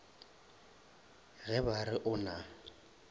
ge ba re o na